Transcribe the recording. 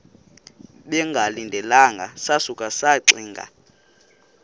bengalindelanga sasuka saxinga